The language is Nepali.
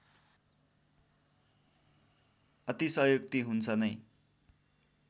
अतिशयोक्ति हुन्छ नै